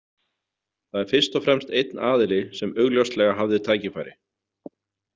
Það er fyrst og fremst einn aðili sem augljóslega hafði tækifæri.